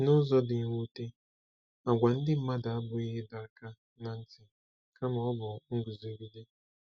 N'ụzọ dị mwute, àgwà ndị mmadụ abụghị ịdọ aka ná ntị kama ọ bụ nguzogide.